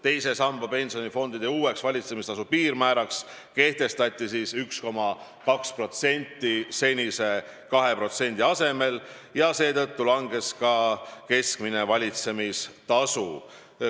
Teise samba pensionifondide uueks valitsemistasu piirmääraks kehtestati 1,2% senise 2% asemel ja seetõttu keskmine valitsemistasu langes.